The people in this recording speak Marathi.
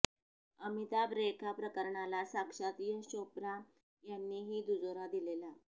अमिताभ रेखा प्रकरणाला साक्षात यश चोप्रा यांनीही दुजोरा दिलेला